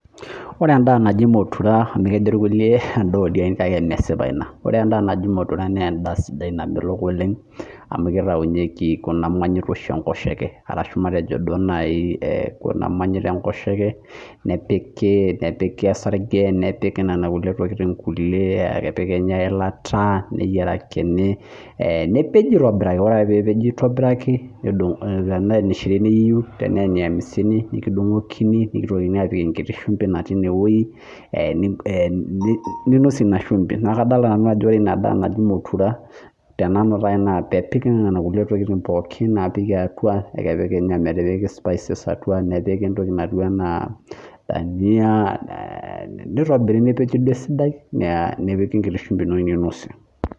Ore en'daa naji motura amu kejo ilkulie endaa oldien kake mesipa ina Ore endaa naji motura naa en'daa sidai namelok oleng amu kitaunyeki kuna monyit oshi enkoshoke arashu matejo duo nai kuna monyit enkoshoke nepiki Osage nepiki nena kulie tokiting, epiki Kenya eilata neyierakini nepeji aitobiraki ore peepeji aitobirak tene eneshirini iyieu tenee eniamisini iyieu nekidung'okini nitokini aapik enkiti shumbi natiine wei ninosie ina shumbi naa kadolita nanu ajo ore ina daa natii motura tenanu taa naa peepiki nena kulie tokiting pooki apik atwa neekepiki ometipiki spices atwa nepiki entoki natiu enaa dania nitobiri nepiki duo esidai nepiki enkiti shumbi ino ninosie